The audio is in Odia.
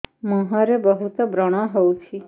ମୁଁହରେ ବହୁତ ବ୍ରଣ ହଉଛି